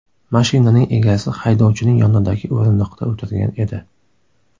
Mashinaning egasi haydovchining yonidagi o‘rindiqda o‘tirgan edi.